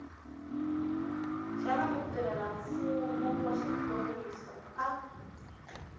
xana mutirhelamfumo wa xiphorisa a